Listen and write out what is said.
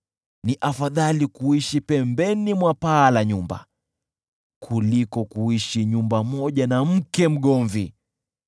Ni afadhali kuishi pembeni mwa paa la nyumba, kuliko kuishi nyumba moja na mke mgomvi.